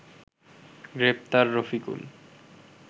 গ্রেপ্তার রফিকুল